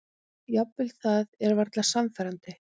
Jafnvel það er varla sannfærandi.